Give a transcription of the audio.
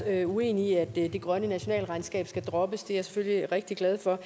er uenig i at det grønne nationalregnskab skal droppes det jeg selvfølgelig rigtig glad for